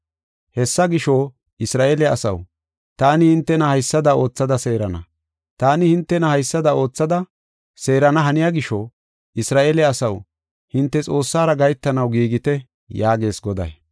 Hessa gisho, “Isra7eele asaw, taani hintena haysada oothada seerana. Taani hintena haysada oothada seerana haniya gisho, Isra7eele asaw, hinte Xoossara gahetanaw giigite” yaagees Goday.